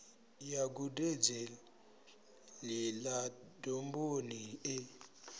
ya gudedzi ḽa domboni e